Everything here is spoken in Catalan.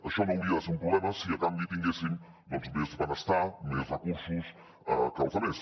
això no hauria de ser un problema si a canvi tinguéssim doncs més benestar més recursos que els altres